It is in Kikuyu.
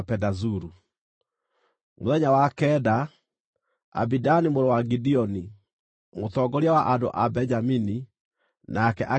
Mũthenya wa kenda, Abidani mũrũ wa Gideoni, mũtongoria wa andũ a Benjamini, nake akĩrehe maruta make.